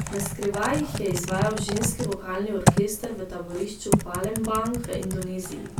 Naskrivaj jih je izvajal ženski vokalni orkester v taborišču Palembang v Indoneziji.